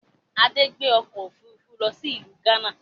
Adé ń gbé ọkọ̀ Òfurufú lọ sí ìlú gánà